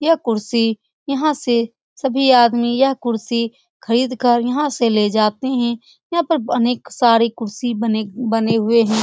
यह कुर्सी यहां से सभी आदमी यह कुर्सी खरीद कर यहां से ले जाते हैं यहां पर अनेक सारी बने बने हुए हैं।